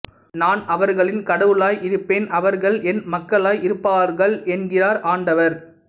நான் அவர்களின் கடவுளாய் இருப்பேன் அவர்கள் என் மக்களாய் இருப்பார்கள் என்கிறார் ஆண்டவர்